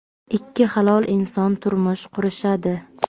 ikki halol inson turmush qurishadi.